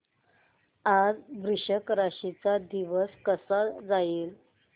आज वृश्चिक राशी चा दिवस कसा जाईल